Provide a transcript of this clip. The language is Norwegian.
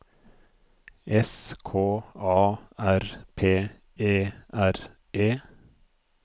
S K A R P E R E